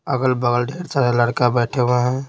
अगल-बगल ढेर सारे लड़का बैठे हुए हैं।